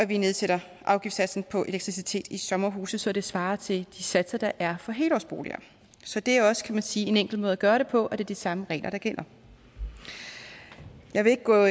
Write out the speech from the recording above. vi nedsætter afgiftssatsen på elektricitet i sommerhuse så det svarer til de satser der er for helårsboliger så det er jo også kan man sige en enkel måde at gøre det på at det er de samme regler der gælder jeg vil ikke gå